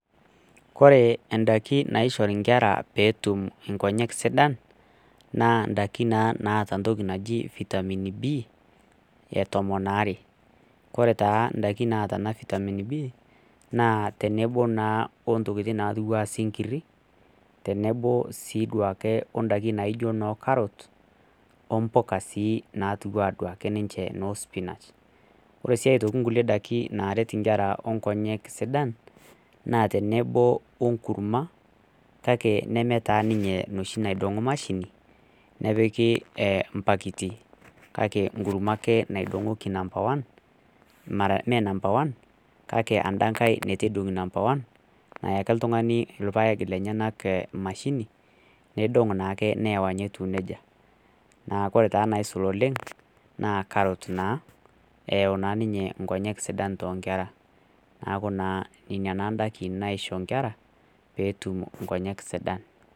koree ndakin naishori inkera ptum nkonyek sidan naa ndakin naa naata ntoki naaji vitamin b e tomon are koree taa ndakin naata vitamin b naa teneboo naa ontokitin naatiwa anaa sinkiri tenebo sii oduake ondakin naijo noo carrots o mpukaa sii natiu anduaki ninche noo spinach oree sii aitoki nkulie dakin naret inkera onkonyek sidan naa tenebo onkurma kake nemee taa ninye enoshi naidongo mashini nepiki mpakiti kake nkurma ake naidongoki nampa one mara mee nampa wan kake enda nkae itu eidongi nampa wan nayaki ltungani ilpaek lenyenak mashini neidong naake neeya etiu nejia naa koree taa naisul oleng naa carrot naa eyau naa ninye nkonyek sidan too nkera neeku inaaa naa ndakin naisho inera peetum inkonyek sidan